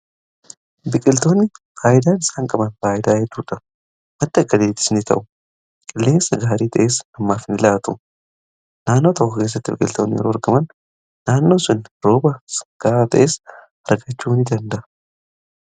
Biqiltoonni faayidaa isaan qaban faayidaa hedduudha madai akka galiittis ni ta'u qilleensa gaarii ta'essa namaaf nu laatu naannoo takko keessatti biqiltootni argaman naannoon sun rooba kaara ta'essa arkachuu n danda